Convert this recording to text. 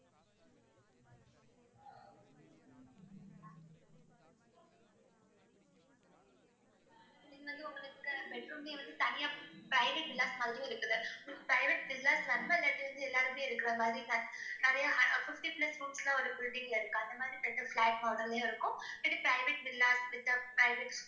இங்கு வந்து உங்களுக்கு bed room ஏ வந்து தனியா private villas மாதிரியும் இருக்குது private villas எல்லாருமே இருக்கிற மாதிரி நிறைய hu~ fifty plus rooms ல ஒரு building ல இருக்கு அந்த மாதிரிப்பட்ட flat model லயும் இருக்கும் private villas with private